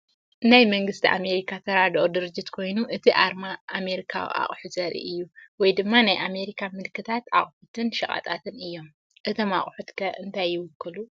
ናይ መንግስቲ ኣሜሪካ ተራድኦ ድርጅት ኮይኑ፡ እቲ ኣርማ ኣሜሪካዊ ኣቑሑት ዘርኢ እዩ፡ ወይ ድማ ናይ ኣሜሪካ ምልክታት ኣቑሑትን ሸቐጣትን እዮም። እቶም ኣቑሑት ከ እንታይ ይውክሉ?